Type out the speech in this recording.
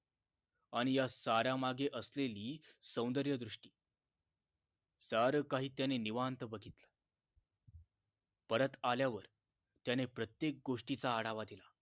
आणि या साऱ्या मागे असलेली सौंदर्यदृष्टी सारं काही त्यानं निवांत बघितलं परत आल्यावर त्यानं प्रत्येक गोष्टीचा आढावा दिला